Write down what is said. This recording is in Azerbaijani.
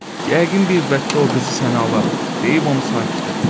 Yəqin bir vaxt o qızı sənə alaram deyib onu sakit etdi.